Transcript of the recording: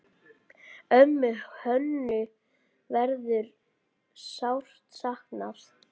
Ömmu Hönnu verður sárt saknað.